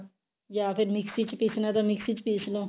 ਜਾਂ ਫਿਰ ਮਿਕਸੀ ਚ ਪੀਸਣਾ ਮਿਕਸੀ ਚ ਪੀਸਲੋ